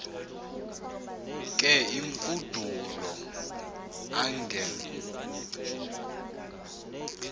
ke imfudulo angen